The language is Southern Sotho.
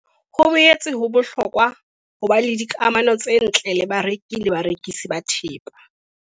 Ho ho boetse ho bohlokwa ho ba le dikamano tse ntle le bareki le barekisi ba thepa.